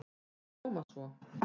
Í Koma svo!